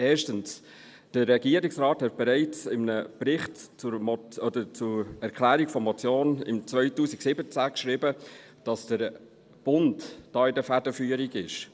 – Erstens: Der Regierungsrat hat bereits in einem Bericht zur Erklärung zur Motion im Jahr 2017 geschrieben, dass der Bund da in der Federführung ist.